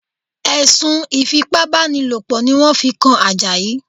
Ẹ̀sùn Ìfipábánilòpọ̀ ni wọ́n fi kan Àjàyí